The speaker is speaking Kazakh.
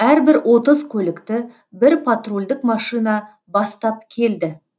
әрбір отыз көлікті бір патрульдік машина бастап келді